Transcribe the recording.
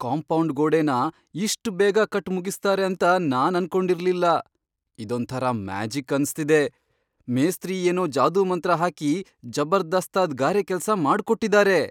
Compound ಗೋಡೆನ ಇಷ್ಟ್ ಬೇಗ ಕಟ್ಟ್ ಮುಗಿಸ್ತಾರೆ ಅಂತ ನಾನ್ ಅನ್ಕೊಂಡಿರ್ಲಿಲ್ಲ. ಇದೊಂಥರ ಮ್ಯಾಜಿಕ್ ಅನ್ಸ್ತಿದೆ! ಮೇಸ್ತ್ರಿ ಏನೋ ಜಾದೂಮಂತ್ರ ಹಾಕಿ ಜಬರ್ದಸ್ತಾಗ್ ಗಾರೆ ಕೆಲ್ಸ ಮಾಡ್ಕೊಟ್ಟಿದಾರೆ.